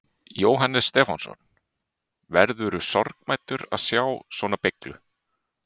Jóhannes Stefánsson: Verðurðu sorgmæddur að sjá svona beyglu?